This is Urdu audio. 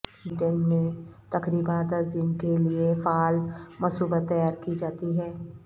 بلیٹین میں تقریبا دس دن کے لئے فعال مصوبت تیار کی جاتی ہے